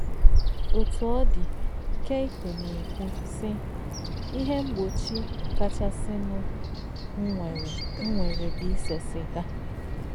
Otú ọ dị, Keiko na-ekwu, sị: “ Ihe mgbochi kachasịnụ m nwere m nwere bụ ise siga